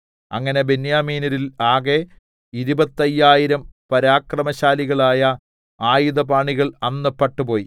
അങ്ങനെ ബെന്യാമീന്യരിൽ ആകെ ഇരുപത്തയ്യായിരം പരാക്രമശാലികളായ ആയുധപാണികൾ അന്ന് പട്ടുപോയി